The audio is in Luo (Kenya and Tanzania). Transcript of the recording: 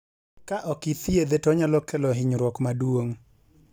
Ka ok ithiedhe to onyalo kelo hinyruok ma duong'